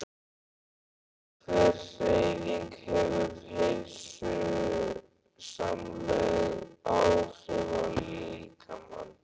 Sérhver hreyfing hefur heilsusamleg áhrif á líkamann.